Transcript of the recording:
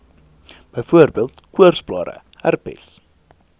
byvoorbeeld koorsblare herpes